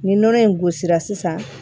Nin nɔnɔ in gosira sisan